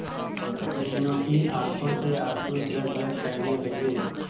मीनू की आंखों से आंसू झरझर बहने लगे